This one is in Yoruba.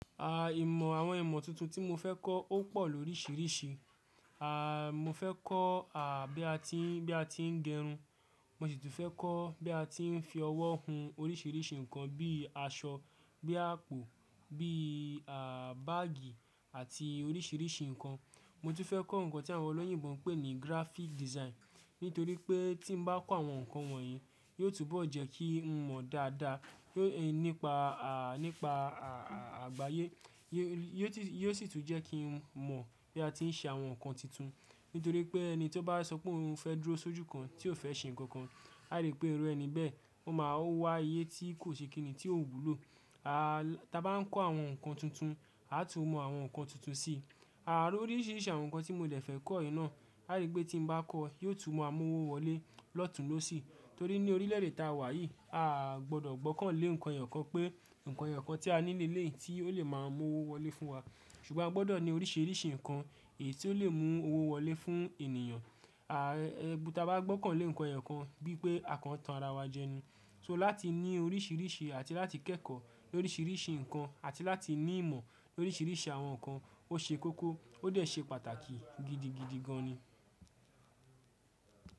Àà, ìmọ̀ àwọn ìmọ̀ tuntun tí mo fẹ́ kọ́ ó pọ̀ lóríṣiríṣi. Àà, mo fẹ́ kọ́ à bí a ti ń, bí a ti ń gerun. Mo sì tún fẹ́ kọ́ bí a ti ń fi ọwọ́ hun oríṣiríṣi nǹkan bí aṣọ, bí àpò, bí à báàgì àti oríṣiríṣi nǹkan. Mo tún fẹ́ kọ́ nǹkan tí àwọn olóyìnbo ń pè ní graphic design. Nítorí pé tí n bá kọ́ àwọn nǹkan wọ̀nyí, yóò túbọ̀ jẹ́ kí n mọ̀ dáadáa nípa, à nípa àgbáyé. Yóò sì tún jẹ́ kí n mọ̀ bí a ti ń ṣe àwọn nǹkan tuntun. Nítorí pé ẹni tí ó bá sọ pé òun fẹ́ dúró sójú kan tí ò fẹ́ ṣe nǹkan kan, a rí pé iru ẹni bẹ́ẹ̀. Ó máa wá aye tí kò ṣe kìnní tí o wúlò. A, tí a bá ń kọ́ àwọn nǹkan tuntun, a tun mọ àwọn nǹkan tuntun sí i. Ànd oríṣiríṣi àwọn nǹkan tí mo de fẹ́ kọ́ yi náà, a rí pé tí mo bá kọ́, yóò tún ma mú owo wọlé lọ́tùn lọ́sì. Torí ní orílẹ̀ èdè tá a wà yìí, a gbọdọ̀ gbọ́kàn lé nǹkan èyo kan pé nǹkan èyo kan tí a ni ni eleyi tí ó lè máa mú owó wọlé fún wa. Ṣùgbọ́n a gbọdọ̀ ní oríṣiríṣi nǹkan èyí tí ó lè mú owó wọlé fún ènìyàn. À tí a bá gbọ́kàn lé nǹkan èyo kan bí pé akàn tan ara wa jẹni. So láti ní oríṣiríṣi àti láti kẹ́kọ̀ọ́ lóríṣiríṣi nǹkan àti láti ní ìmọ̀ lóríṣiríṣi àwọn nǹkan ó ṣe kókó ó dẹ̀ ṣe pàtàkì gidigidi gan ni.